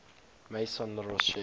maison la roche